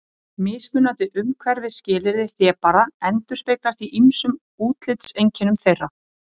Mismunandi umhverfisskilyrði hlébarða endurspeglast í ýmsum útlitseinkennum þeirra.